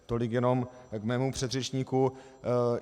Tolik jenom k mému předřečníkovi.